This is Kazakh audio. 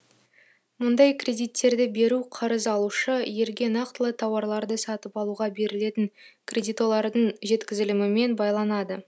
мұндай кредиттерді беру қарыз алушы елге нақтылы тауарларды сатып алуға берілетін кредитолардың жеткізілімімен байланады